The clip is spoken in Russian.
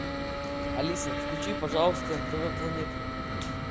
алиса включи пожалуйста нтв планета